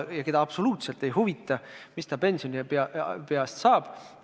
Teda absoluutselt ei huvita, mis tema pensionipõlvest saab.